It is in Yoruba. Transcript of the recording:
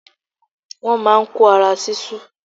Wọ́n má a n kó ara sísú